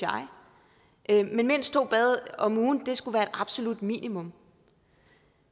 jeg men mindst to bade om ugen skulle være absolut minimum